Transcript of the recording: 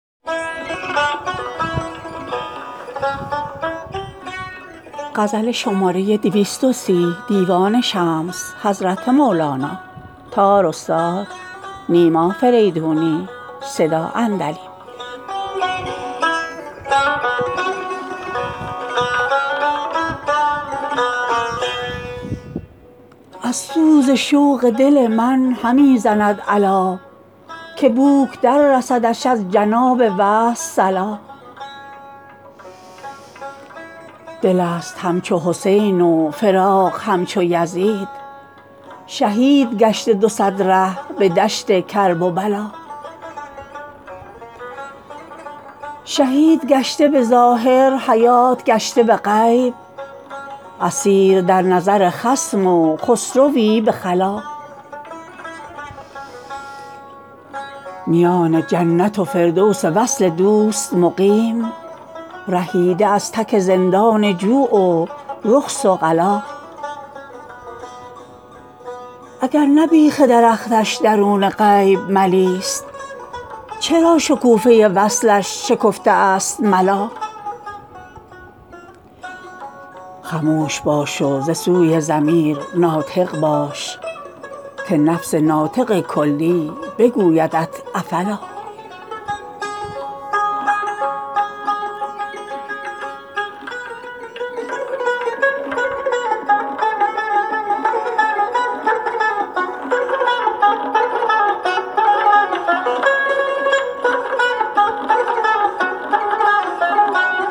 ز سوز شوق دل من همی زند عللا که بوک دررسدش از جناب وصل صلا دلست همچو حسین و فراق همچو یزید شهید گشته دو صد ره به دشت کرب و بلا شهید گشته به ظاهر حیات گشته به غیب اسیر در نظر خصم و خسروی به خلا میان جنت و فردوس وصل دوست مقیم رهیده از تک زندان جوع و رخص و غلا اگر نه بیخ درختش درون غیب ملیست چرا شکوفه وصلش شکفته است ملا خموش باش و ز سوی ضمیر ناطق باش که نفس ناطق کلی بگویدت افلا